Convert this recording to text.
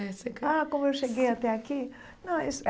Ah, como eu cheguei até aqui? Não